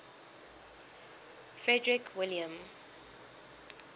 frederick william